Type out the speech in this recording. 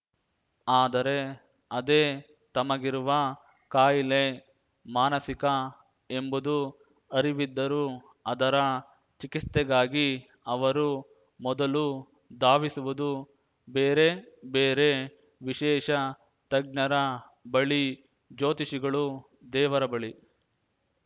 ಆದರೆ ಅದೇ ತಮಗಿರುವ ಕಾಯಿಲೆ ಮಾನಸಿಕ ಎಂಬುದು ಅರಿವಿದ್ದರೂ ಅದರ ಚಿಕಿತ್ಸೆಗಾಗಿ ಅವರು ಮೊದಲು ಧಾವಿಸುವುದು ಬೇರೆ ಬೇರೆ ವಿಶೇಷ ತಜ್ಞರ ಬಳಿ ಜ್ಯೋತಿಷಿಗಳುದೇವರ ಬಳಿ